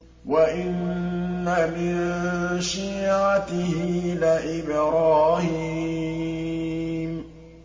۞ وَإِنَّ مِن شِيعَتِهِ لَإِبْرَاهِيمَ